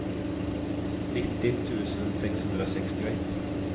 nittio tusen sexhundrasextioett